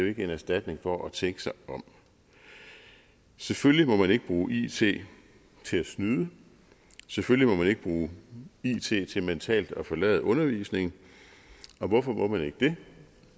ikke en erstatning for det at tænke sig om selvfølgelig må man ikke bruge it til at snyde selvfølgelig må man ikke bruge it til mentalt at forlade undervisningen og hvorfor må man ikke det